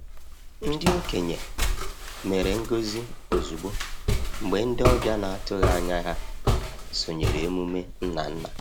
Ndị okenye mere ngọzi ozugbo mgbe ndị ọbịa na-atụghị anya ha sonyere emume nna nna.